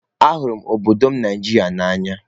Ahụrụ m obodo m Nigeria n'anya.